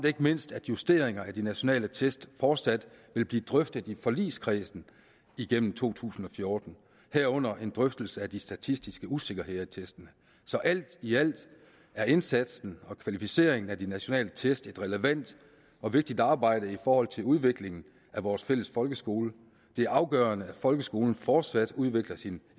ikke mindst at justeringer af de nationale test fortsat vil blive drøftet i forligskredsen igennem to tusind og fjorten herunder en drøftelse af de statistiske usikkerheder i testene så alt i alt er indsatsen og kvalificeringen af de nationale test et relevant og vigtigt arbejde i forhold til udviklingen af vores fælles folkeskole det er afgørende at folkeskolen fortsat udvikler sin